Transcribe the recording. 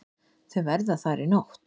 Þau verða þar í nótt.